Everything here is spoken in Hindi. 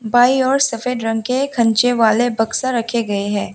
बाई ओर सफेद रंग के खनचे वाले बक्से रखे गए हैं।